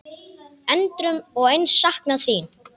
Endrum og eins saknað þín.